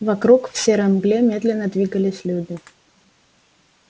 вокруг в серой мгле медленно двигались люди